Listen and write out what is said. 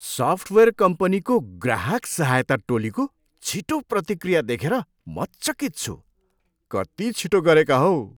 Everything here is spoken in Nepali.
सफ्टवेयर कम्पनीको ग्राहक सहायता टोलीको छिटो प्रतिक्रिया देखेर म चकित छु। कति छिटो गरेका हौ!